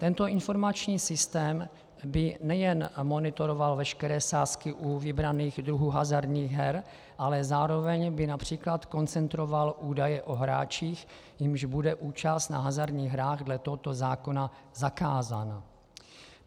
Tento informační systém by nejen monitoroval veškeré sázky u vybraných druhů hazardních her, ale zároveň by například koncentroval údaje o hráčích, jimž bude účast na hazardních hrách dle tohoto zákona zakázána.